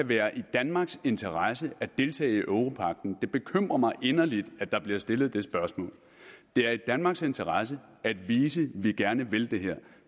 være i danmarks interesse at deltage i europagten det bekymrer mig inderligt at der bliver stillet det spørgsmål det er i danmarks interesse at vise at vi gerne vil det her